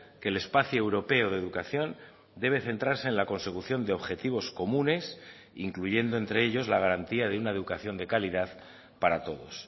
que el espacio europeo de educación debe centrarse en la consecución de objetivos comunes incluyendo entre ellos la garantía de una educación de calidad para todos